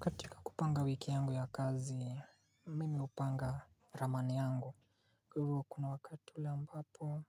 Katika kupanga wiki yangu ya kazi mimi upanga ramani yangu. Kwa ivo kuna wakati ule ambapo